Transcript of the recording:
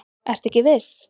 Ertu ekki viss?